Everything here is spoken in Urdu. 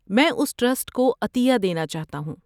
میں اُس ٹرسٹ کو عطیہ دینا چاہتا ہوں۔